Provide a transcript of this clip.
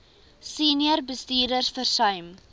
senior bestuurders versuim